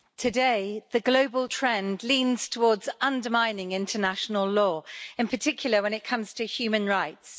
Mr President, today, the global trend leans towards undermining international law, in particular when it comes to human rights.